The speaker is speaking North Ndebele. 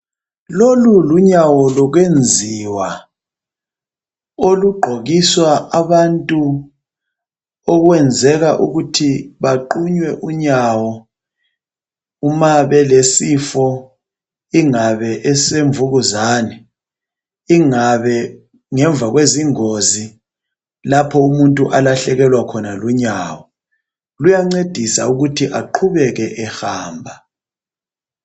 Lolu lunyawo lokwenziwa olugqokiswa abantu okwenzeka ukuthi baqunywe unyawo uma belesifo ingabe esemvukuzane, ingabe ngemva kwezingozi lapho umuntu alahlekelwa khona lunyawo . Luyancedisa ukuthi aqhubeke ehamba.